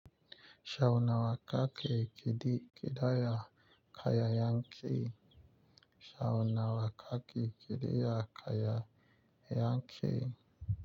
Shaunawa ka ke kidi kidaya kaya yankee Shaunawa ka ke kidaya kaya yankee.